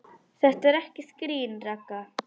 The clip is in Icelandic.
Þetta er ekkert grín, Ragga.